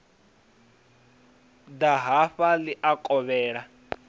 ḓa hafha ḽi a kovhela